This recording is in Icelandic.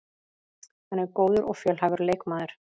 Hann er góður og fjölhæfur leikmaður